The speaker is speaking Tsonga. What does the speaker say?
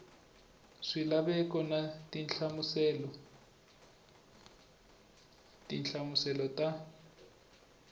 swilaveko na tinhlamuselo tinhlamuselo ta